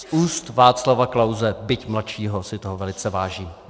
Z úst Václava Klause, byť mladšího, si toho velice vážím.